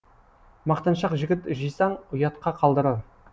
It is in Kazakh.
мақтаншақ жігіт жисаң ұятқа қалдырар